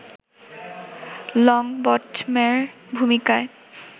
লংবটমের ভূমিকায়